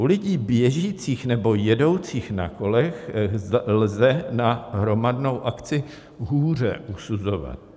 U lidí běžících nebo jedoucích na kolech lze na hromadnou akci hůře usuzovat.